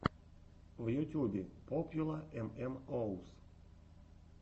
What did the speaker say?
в ютьюбе попьюла эм эм оус